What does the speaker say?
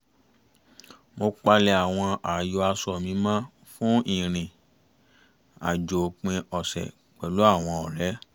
mo palẹ̀ àwọn ààyò aṣọ mi mọ́ fún ìrìn-àjò òpin ọ̀sẹ̀ pẹ̀lú àwọn ọ̀rẹ́